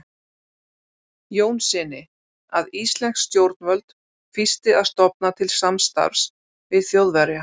Jónssyni, að íslensk stjórnvöld fýsti að stofna til samstarfs við Þjóðverja.